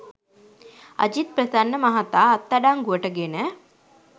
අජිත් ප්‍රසන්න මහතා අත්අඩංගුවට ගෙන